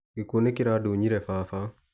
Gĩkuo nĩ kĩradunyire Baba.